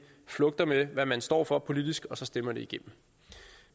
flugter med hvad man står for politisk og så stemmer det igennem